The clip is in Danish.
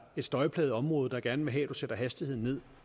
et støjplaget område der gerne vil have at de sætter hastigheden ned